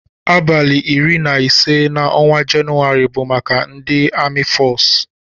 Abali iri na ise na ọnwa jenuwari bu maka ndi ami fọcu.